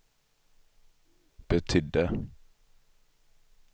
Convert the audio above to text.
betydde